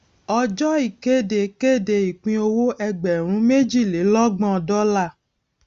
ọjọ ìkéde kéde ìpínowó ẹgbèrún méjìlélọgbọn dọọlà